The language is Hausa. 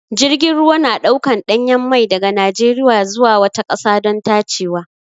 Jirgin ruwa na ɗaukan ɗanyen mai daga Najeriya zuwa wata ƙasa don tacewa.